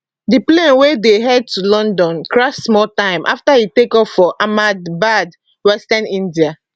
di plane wey dey head to london crash small time afta e takeoff for ahmedabad western india